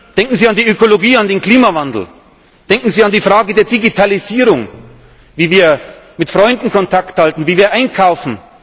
Denken Sie an die Ökologie, an den Klimawandel. Denken Sie an die Frage der Digitalisierung, wie wir mit Freunden Kontakt halten, wie wir einkaufen.